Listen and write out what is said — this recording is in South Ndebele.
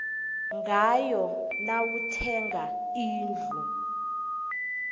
ngayo nawuthenga indlu